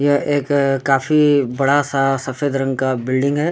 यह एक काफी बड़ा-सा सफेद रंग का बिल्डिंग है।